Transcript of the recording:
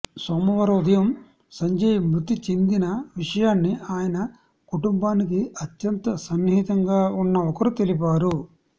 సోమవారం ఉదయం సంజయ్ మృతి చెందిన విషయాన్ని ఆయన కుటుంబానికి అత్యంత సన్నిహితంగా ఉన్న ఒకరు తెలిపారు